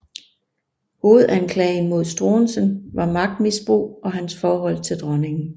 Hovedanklagen mod Struensee var magtmisbrug og hans forhold til dronningen